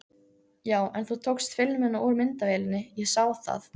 Já, en þú tókst filmuna úr myndavélinni, ég sá það!